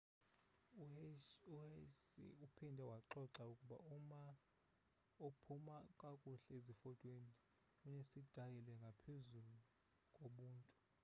uhsieh uphinde waxoxa ukuba uma ophuma kakuhle zifotweni unesitayile ngaphezu kobuntu